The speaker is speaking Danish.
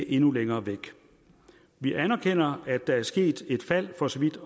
endnu længere væk vi anerkender at der er sket et fald for så vidt